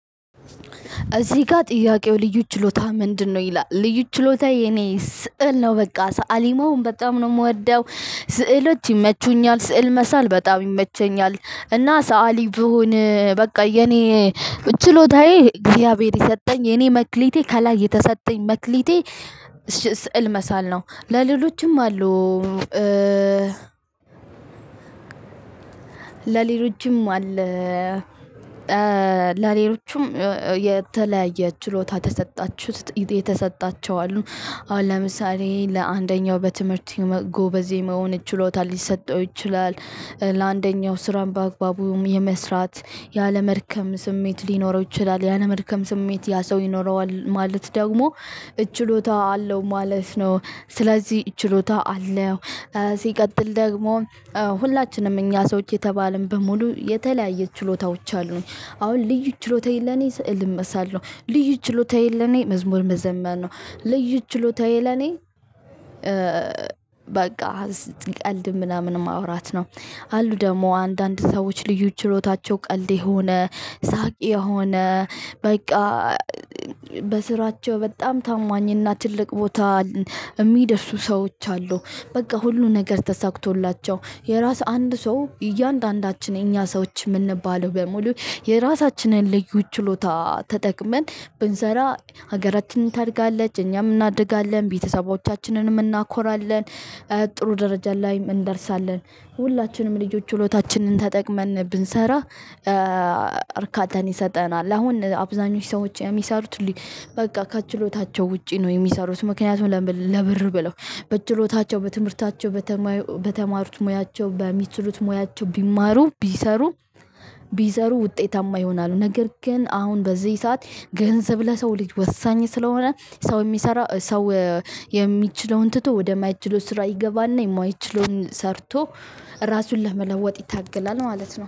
እዚህ ጋር ጥያቄው ልዩ ችሎታ ምንድነው? ይላል ልዩ ችሎታ የኔ ስዕል ነው በቃ ሰአሊ መሆን በጣም ነው የምወደው ስዕሎች ይመቹኛል ስዕል መሳል በጣም ይመቸኛል። እና ሰአሊ ብሆን በቃ የኔ ችሎታዬ እግዚአብሔር የሰጠኝ የኔ መክሊቴ ከላይ የተሰጠኝ መክሊቴ። ስዕል መሳል ነው ለሌሎችም አሉ። ለሌሎቹም አለ ለሌሎቹም የተለያየ ችሎታ ተሰጣችሁት የተሰጣቸው አሉ። አሁን ለምሳሌ ለአንደኛው በትምህርት ጎበዝ የመሆን ችሎታ ሊሰጠው ይችላል። ለአንደኛው ስራም በአግባቡም የመስራት ያለመድከም ስሜት ሊኖረው ይችላል ያለመድከም ስሜት ያ ሰው ይኖረዋል ማለት ደግሞ እችሎታ አለው ማለት ነው። ስለዚህ እችሎታ አለው። ሲቀጥል ደግሞ ሁላችንም እኛ ሰዎች የተባለን በሙሉ የተለያየ ችሎታዎች አሉን። አሁን ልዩ ችሎታዬ ለኔ ስዕል መሳል ልዩ ችሎታየ ለኔ መዝሙር መዘመር ነው። ልዩ ችሎታዬ ለኔ በቃ ስትቀልድ ምናምን ማውራት ነው። አሉ ደግሞ አንዳንድ ሰዎች ልዩ ችሎታቸው ቀልድ የሆነ ሳቅ የሆነ በቃ። በስራቸው በጣም ታማኝና ትልቅ ቦታ የሚደርሱ ሰዎች አሉ። በቃ ሁሉ ነገር ተሳክቶላቸው የራስ አንድ ሰው እያንዳንዳችን የኛ ሰዎች የምንባለው በሙሉ የራሳችንን ልዩ ችሎታ ተጠቅመን ብንሰራ ሀገራችንን ታድጋለች እኛም እናድጋለን ቤተሰቦቻችንንም እናኮራለን። ጥሩ ደረጃ ላይም እንደርሳለን ሁላችንም ልጆች ችሎታችንን ተጠቅመን ብንሰራ። እርካታን ይሰጠናል አሁን አብዛኞች ሰዎች የሚሰሩት። በቃ ከችሎታቸው ውጪ ነው የሚሰሩት ምክንያቱም ለብር ብለው በችሎታቸው በትምህርታቸው በተማሩት ሙያቸው በሚችሉት ሙያቸው ቢማሩ ቢሰሩ። ቢሰሩ ውጤታማ ይሆናሉ። ነገር ግን አሁን በዚህ ሰዓት ገንዘብ ለሰው ልጅ ወሳኝ ስለሆነ ሰው የሚሰራ ሰው። የሚችለውን ትቶ ወደማይችለው ስራ ይገባና የማይችለዉን ሰርቶ ራሱን ለመለወጥ ይታገላል ማለት ነው